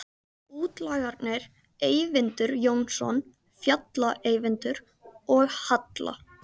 Útlagarnir Eyvindur Jónsson, Fjalla-Eyvindur, og Halla